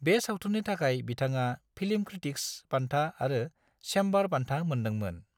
बे सावथुननि थाखाय बिथाङा फिल्म क्रिटिक्स बान्था आरो चेम्बार बान्था मोन्दोंमोन।